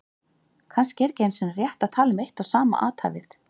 Kannski er ekki einu sinni rétt að tala um eitt og sama athæfið.